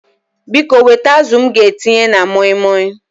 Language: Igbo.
Biko wete azụ m ga-etinye na moi moi